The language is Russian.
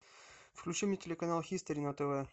включи мне телеканал хистори на тв